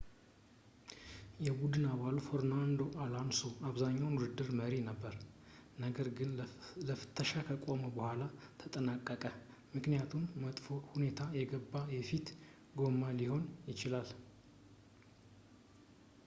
የቡድን አባሉ ፈርናንዶ ኣሎንሶ ለአብዛኛው ውድድር መሪ ነበረ ነገር ግን ለፍተሻ ከቆመ ቡኃላ ተጠናቀቀ ምክኒያቱም በመጥፎ ሁኔታ የገባ የፊት ጎማ ሊሆን ይችላል